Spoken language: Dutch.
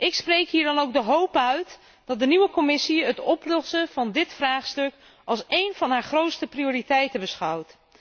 Ik spreek hier dan ook de hoop uit dat de nieuwe Commissie het oplossen van dit vraagstuk als één van haar grootste prioriteiten beschouwt.